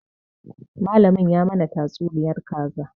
Malamin ya mana tatsuniyar kaza